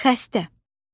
Xəstə.